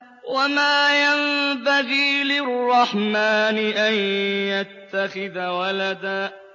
وَمَا يَنبَغِي لِلرَّحْمَٰنِ أَن يَتَّخِذَ وَلَدًا